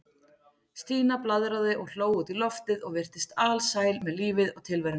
Stína blaðraði og hló út í loftið og virtist alsæl með lífið og tilveruna.